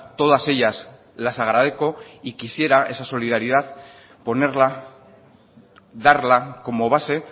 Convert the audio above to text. todas ellas las agradezco y quisiera esa solidaridad ponerla darla como base